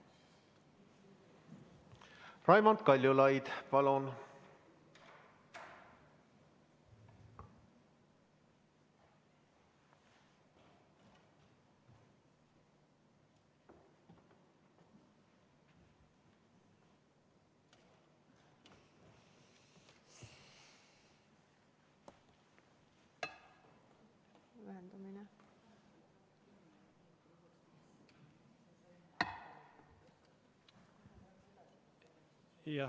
Raimond Kaljulaid, palun!